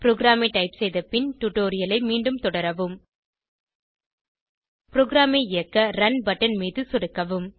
ப்ரோகிராமை டைப் செய்த பின் டுடோரியலை மீண்டும் தொடரவும் ப்ரோகிராமை இயக்க ரன் பட்டன் மீது சொடுக்கவும்